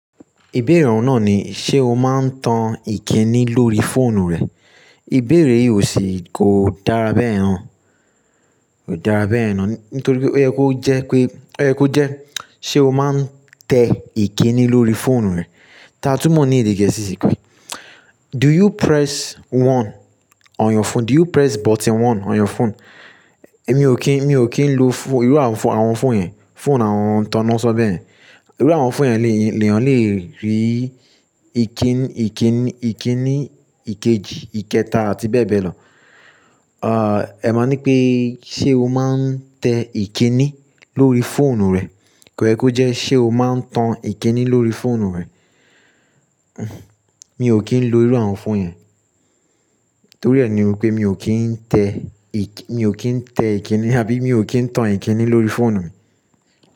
Ìbéèrè ọ̀hun nàa ni, ṣe o máa ń tan ìkíni lórí fóònù rẹ? Ìbéèrè yìí ò se, kò dára bẹ́yen na kò dára bẹ́yena nítorí pé ó yẹ kó jẹ́ pé, ó yẹ kó jẹ́ ṣé o máa ń tẹ ìkíni lórí fóònù rẹ. Tatúmọ̀ ní èdè gẹ̀ẹ́sì sí pé "Do you press one on your phone? Do you press button one on your phone?" Èmi ò kí n, èmi ò kí ń lo fóònù, irú àwọn fóònù yẹn, fóònù àwọn tán náà sọ bẹ́ẹ̀. Irú àwọn fóònù yẹn le èyàn le rí ìkíni, ìkíni, ìkíni ìkejì, ìkẹta àti bẹ́ẹ̀ bẹ́ẹ̀ lọ. Ah, ẹ máa ní pé ṣé o máa ń tẹ ìkíni lórí fóònù rẹ? Kò yẹ kó jẹ́ ṣé o máa ń tan ìkíni lórí fóònù rẹ. Mi ò kí ń lo irú àwọn fóònù yẹn. Torí ẹ ni wípé mi ò kí ń tẹ ìkí, mi ò kí ń tẹ ìkíni àbí mi ò kí ń tan ìkíni lórí fóònù mi.